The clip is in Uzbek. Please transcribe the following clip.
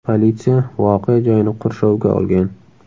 Politsiya voqea joyini qurshovga olgan.